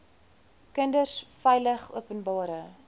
kinders veilig openbare